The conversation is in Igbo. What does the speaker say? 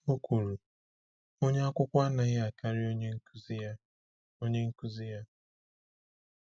O kwuru: “Onye akwụkwọ anaghị akarị onye nkuzi ya.” onye nkuzi ya.”